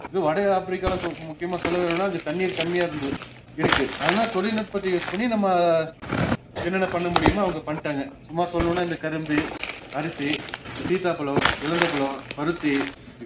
இது வடஆப்பிரிக்கால சொப்~ முக்கியமா சொல்ல வேணுனா அங்க தண்ணீர் கம்மியா இருந்தது இருக்கு ஆனா தொழில்நுட்பத்தை use நம்ம என்னென்ன பண்ணமுடியுமோ அவங்க பண்ணிட்டாங்க சும்மா சொல்லலுன்னா இந்த கரும்பு, அரிசி, இந்த சீத்தாப்பழம், இலந்தப்பழம், பருத்தி